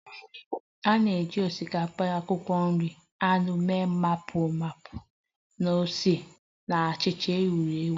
A na-eji osikapa, akwụkwọ nri, anụ mee Bibimpap na ose na-acha uhie uhie